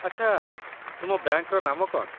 ଆଚ୍ଛା, ତୁମ ବ୍ୟାଙ୍କର ନାମ କ'ଣ ?